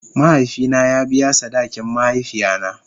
Mahaifi na ya biya sadakin mahaifiya na.